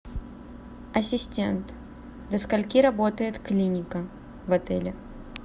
ассистент до скольки работает клиника в отеле